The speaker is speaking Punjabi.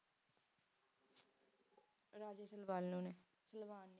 Raja Salabanu ਨੇ